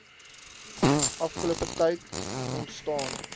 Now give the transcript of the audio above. afgelope tyd ontstaan